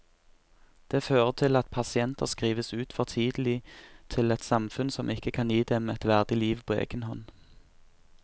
Det fører til at pasienter skrives ut for tidlig til et samfunn som ikke kan gi dem et verdig liv på egen hånd.